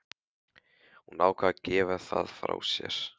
Hún ákvað að gefa það frá sér.